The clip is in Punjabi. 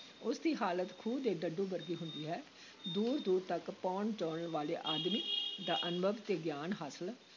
ਉਸ ਦੀ ਹਾਲਤ ਖੂਹ ਦੇ ਡੱਡੂ ਵਰਗੀ ਹੁੰਦੀ ਹੈ, ਦੂਰ-ਦੂਰ ਤੱਕ ਭਉਣ-ਚਉਣ ਵਾਲੇ ਆਦਮੀ ਦਾ ਅਨੁਭਵ ਤੇ ਗਿਆਨ ਹਾਸਲ